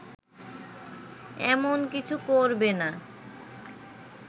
এমন কিছু করবেনা